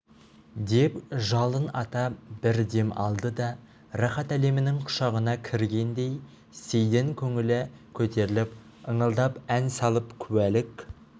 деп жалын ата бір дем алды да рахат әлемінің құшағына кіргендей сейдін көңілі көтеріліп ыңылдап ән салып куәлік